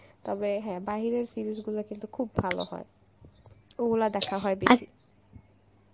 তবে হ্যাঁ বাইরের series গুলা কিন্তু খুব ভালো হয় ওগুলা দেখা হয় বেশি